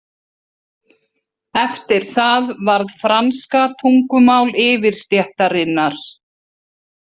Eftir það varð franska tungumál yfirstéttarinnar.